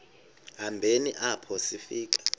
hambeni apho sifika